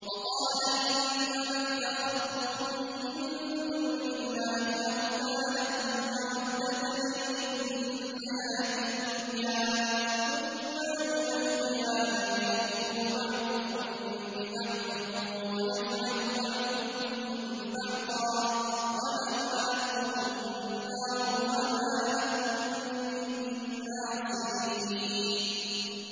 وَقَالَ إِنَّمَا اتَّخَذْتُم مِّن دُونِ اللَّهِ أَوْثَانًا مَّوَدَّةَ بَيْنِكُمْ فِي الْحَيَاةِ الدُّنْيَا ۖ ثُمَّ يَوْمَ الْقِيَامَةِ يَكْفُرُ بَعْضُكُم بِبَعْضٍ وَيَلْعَنُ بَعْضُكُم بَعْضًا وَمَأْوَاكُمُ النَّارُ وَمَا لَكُم مِّن نَّاصِرِينَ